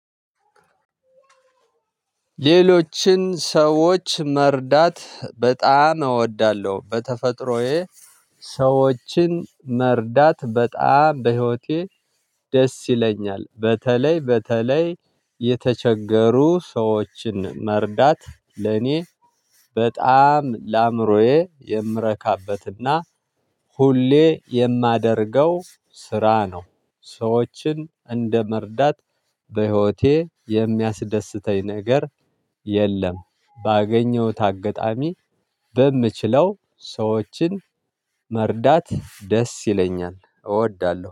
ሌሎችን ሰዎች መርዳት በጣም እወዳለሁ። በተፈጥሮዬ ሰዎችን መርዳት በጣም በህይወቴ ደስ ይለኛል። በተለይ በተለይ የተቸገሩ ሰዎችን መርዳት ለኔ በጣም ለአእምሮዬ የምረካበትና ሁሌ የማደርገው ስራ ነው። ሰዎችን እንደመርዳት በህይወቴ የሚያስደስተኝ ነገር የለም። ባገኘሁት አጋጣሚ በምችለው ሰዎችን መርዳት ደስ ይለኛል። እወዳለሁ